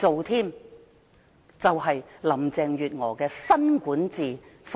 這就是林鄭月娥的新管治風格。